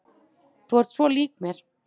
Þú ert svo lík mér!